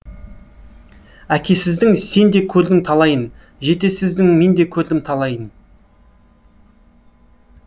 әкесіздің сен де көрдің талайын жетесіздің мен де көрдім талайын